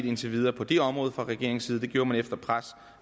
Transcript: indtil videre på det område fra regeringens side det gjorde man efter pres